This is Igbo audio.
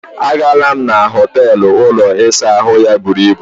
A gaala m na họteelụ ụlọ ịsa ahụ ya buru ibù.